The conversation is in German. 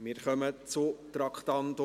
Wir kommen zum Traktandum 45.